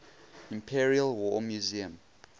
imperial war museum